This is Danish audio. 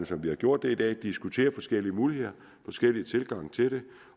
som vi har gjort det i dag diskuterer forskellige muligheder forskellige tilgange til det